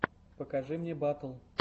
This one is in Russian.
покажи мне батл